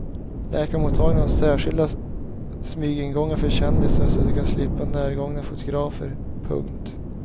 Läkarmottagningarna har särskilda smygingångar för kändisar så att de ska slippa närgångna fotografer. punkt